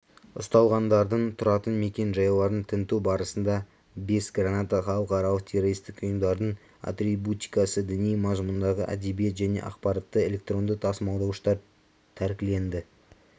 ұсталғандардың тұратын мекенжайларын тінту барысында бес граната халықаралық террористік ұйымдардың атрибутикасы діни мазмұндағы әдебиет және ақпаратты электронды тасымалдауыштар тәркіленді